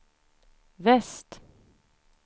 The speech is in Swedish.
väst